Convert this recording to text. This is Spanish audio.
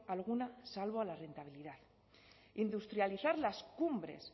alguna salvo a la rentabilidad industrializar las cumbres